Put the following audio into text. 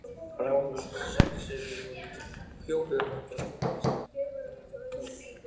Brá hann þá saxinu og hjó höfuð af Glámi og setti það við þjó honum.